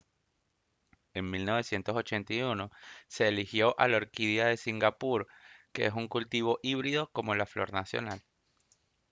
en 1981 se eligió a la orquídea de singapur que es un cultivo híbrido como la flor nacional